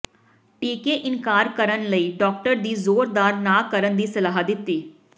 ਟੀਕੇ ਇਨਕਾਰ ਕਰਨ ਲਈ ਡਾਕਟਰ ਦੀ ਜ਼ੋਰਦਾਰ ਨਾ ਕਰਨ ਦੀ ਸਲਾਹ ਦਿੱਤੀ